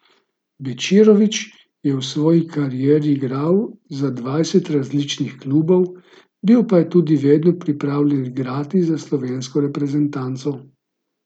Bečirović je v svoji karieri igral za dvajset različnih klubov, bil pa je tudi vedno pripravljen igrati za slovensko reprezentanco.